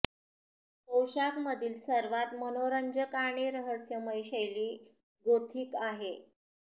पोषाख मधील सर्वात मनोरंजक आणि रहस्यमय शैली गोथिक आहे